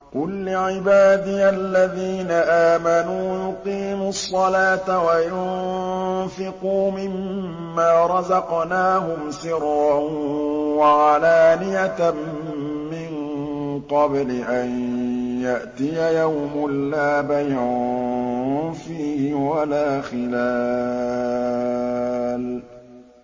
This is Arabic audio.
قُل لِّعِبَادِيَ الَّذِينَ آمَنُوا يُقِيمُوا الصَّلَاةَ وَيُنفِقُوا مِمَّا رَزَقْنَاهُمْ سِرًّا وَعَلَانِيَةً مِّن قَبْلِ أَن يَأْتِيَ يَوْمٌ لَّا بَيْعٌ فِيهِ وَلَا خِلَالٌ